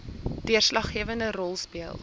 deurslaggewende rol speel